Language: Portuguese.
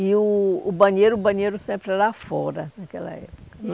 E o o banheiro, o banheiro sempre era fora naquela época. E